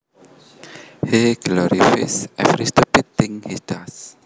He glorifies every stupid thing he does